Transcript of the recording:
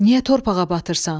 Niyə torpağa batırsan?